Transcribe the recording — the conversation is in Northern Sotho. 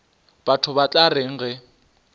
batho ba tla reng ge